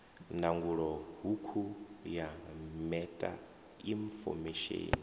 ndangulo hukhu ya meta infomesheni